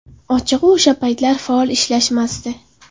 Ochig‘i, o‘sha paytlar faol ishlashmasdi.